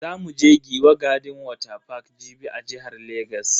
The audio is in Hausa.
Za mu je Giwa garden water park Jibi a jihar Legas.